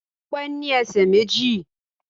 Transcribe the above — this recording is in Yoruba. Ọpẹ́ ní ẹsẹ̀ méjì